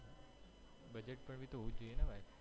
હોવુંજ જોઈએ ને ભાઈ